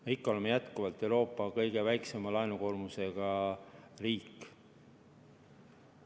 Me oleme ikka jätkuvalt Euroopa kõige väiksema laenukoormusega riik.